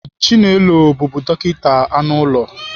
Chinelo bụbu dọkịta anụ ụlọ